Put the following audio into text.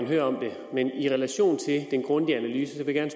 høre om det men i relation til den grundige analyse vil jeg